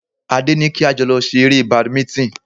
Adé ní kí a jọ lọ ṣe eré Badminton